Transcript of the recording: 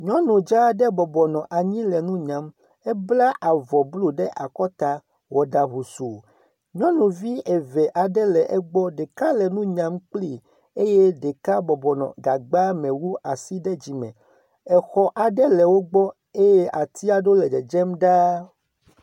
Nyɔnu dzaa aɖe bɔbɔ nɔ anyi le nu nyam. Ebla avɔ blu ɖe akɔta, wɔ ɖa husuu. Nyɔnuvi eve aɖe le egbɔ. Ɖeka le nu nyam kplii eye ɖeka bɔbɔ nɔ gagbame wu asi ɖe dzime. Exɔ aɖe le wogbɔ eye ati aɖe le dzedzem ɖaa.